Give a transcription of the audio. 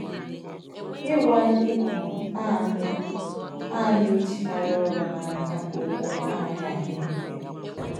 Ịgwa ndị um a na - a na - ejikarị ọrụ n’aka okwu anaghị adị mfe.